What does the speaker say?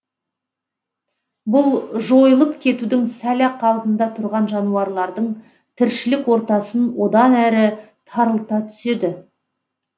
бұл жойылып кетудің сәл ақ алдында тұрған жануарлардың тіршілік ортасын одан әрі тарылта түседі